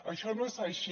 això no és així